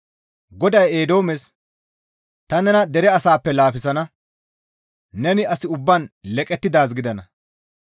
GODAY Eedoomes, «Ta nena dere asaappe laafisana; neni as ubbaan leqettidaaz gidana.